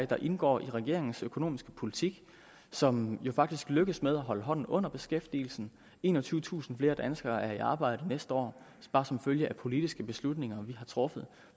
der indgår i regeringens økonomiske politik som jo faktisk lykkes med at holde hånden under beskæftigelsen enogtyvetusind flere danskere er i arbejde næste år bare som følge af politiske beslutninger vi har truffet